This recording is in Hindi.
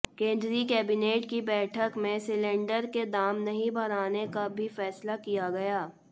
केंद्रीय कैबिनेट की बैठक में सिलिंडर के दाम नहीं बढ़ाने का भी फैसला किया गया